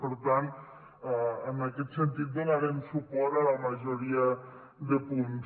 per tant en aquest sentit donarem suport a la majoria de punts